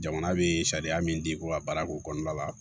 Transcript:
Jamana bɛ sariya min di ko ka baara ko kɔnɔna la